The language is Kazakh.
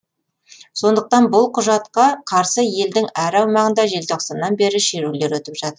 сондықтан бұл құжатқа қарсы елдің әр аумағында желтоқсаннан бері шерулер өтіп жатыр